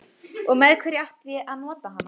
Og með hverju átti að nota hana?